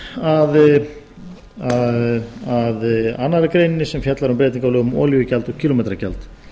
ég kem síðan að annarri grein sem fjallar um breytingar á lögum um olíugjald og kílómetragjald